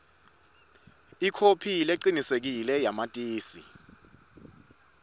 ikhophi lecinisekisiwe yamatisi